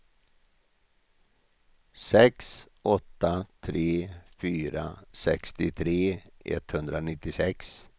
sex åtta tre fyra sextiotre etthundranittiosex